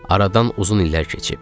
Aradan uzun illər keçib.